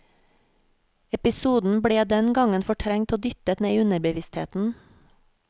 Episoden ble den gangen fortrengt og dyttet ned i underbevisstheten.